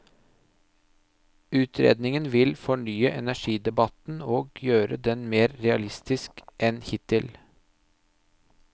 Utredningen vil fornye energidebatten og gjøre den mer realistisk enn hittil.